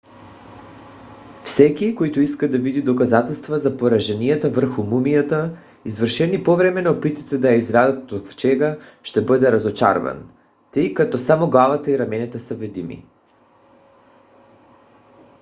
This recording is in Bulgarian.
всеки който иска да види доказателства за пораженията върху мумията извършени по време на опитите да я извадят от ковчега ще бъде разочарован тъй като само главата и раменете са видими